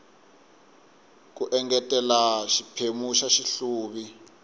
ku engetela xiphemu xa xihluvi